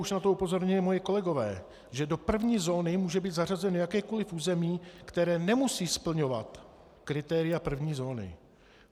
Už na to upozornili moji kolegové, že do první zóny může být zařazeno jakékoliv území, které nemusí splňovat kritéria první zóny.